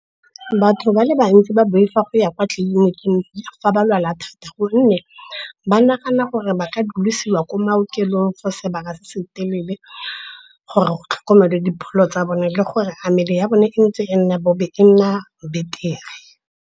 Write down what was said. Batho ba le bantsi ba boifa go ya kwa tleliniking fa ba lwala thata, gonne ba nagana gore ba ka dulisiwa ko maokelong for sebaka se se telele, gore go tlhokomelwa dipholo tsa bone le gore a mmele ya bone e nna beter-e.